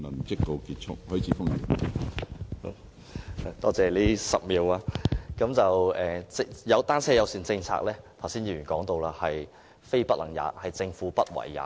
剛才有議員說到，單車友善政策是"非不能也"，而是政府"不為也"。